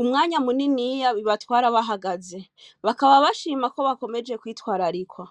umwanya mumuni bibatwara bahagaze bakaba bashama KO bakomeze kwitwararikwa